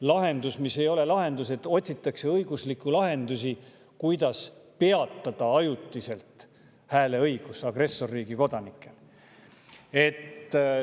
lahendus, mis ei ole tegelikult lahendus, et otsitakse õiguslikke, kuidas peatada ajutiselt agressorriigi kodanike hääleõigus.